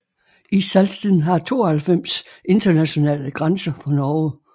Salsten har 92 internationale grænser for Norge